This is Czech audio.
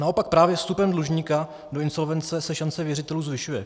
Naopak právě vstupem dlužníka do insolvence se šance věřitelů zvyšuje.